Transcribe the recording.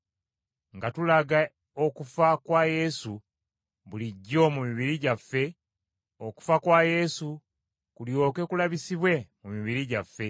nga tulaga okufa kwa Yesu bulijjo mu mibiri gyaffe, okufa kwa Yesu kulyoke kulabisibwe mu mibiri gyaffe.